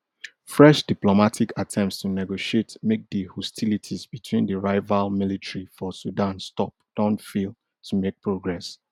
fresh diplomatic attempts to negotiate make di hostilities between di rival military for sudan stop don fail to make progress